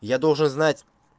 я должен знать